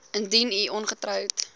indien u ongetroud